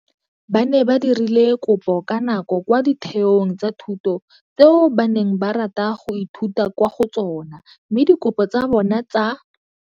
Ba ne ba dirile kopo ka nako kwa ditheong tsa thuto tseo ba neng ba rata go ithuta kwa go tsona mme dikopo tsa bona tsa.